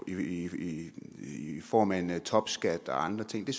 i form af en topskat og andre ting